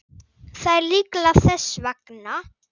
Það er líklega þess vegna.